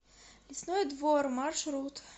лесной двор маршрут